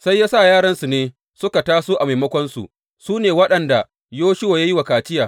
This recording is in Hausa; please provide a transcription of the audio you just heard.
Sai ya sa yaransu ne suka taso a maimakonsu, su ne waɗanda Yoshuwa ya yi wa kaciya.